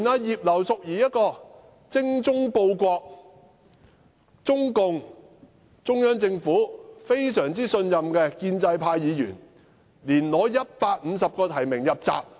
連葉劉淑儀議員這種精忠報國、中央政府非常信任的建制派議員，也無法爭取150個提名入閘。